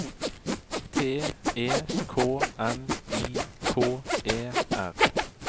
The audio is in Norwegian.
T E K N I K E R